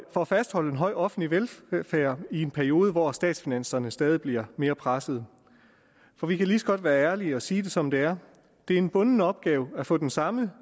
at fastholde en høj offentlig velfærd i en periode hvor statsfinanserne stadig bliver mere pressede for vi kan lige så godt være ærlige og sige det som det er det er en bunden opgave at få den samme